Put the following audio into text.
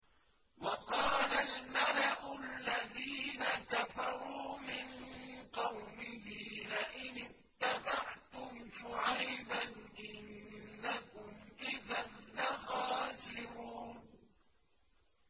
وَقَالَ الْمَلَأُ الَّذِينَ كَفَرُوا مِن قَوْمِهِ لَئِنِ اتَّبَعْتُمْ شُعَيْبًا إِنَّكُمْ إِذًا لَّخَاسِرُونَ